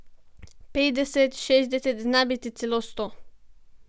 Petdeset, šestdeset, znabiti celo sto.